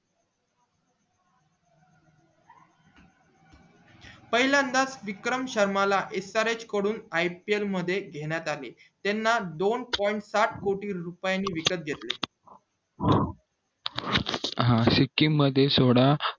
पाहिलंनद्याच विक्रम शर्मा ला srh कडून ipl मध्ये घेण्यात आले त्याना दोन point साथ कोटी रुपये ने विकत घेतले हा सिकिम मध्ये सोडा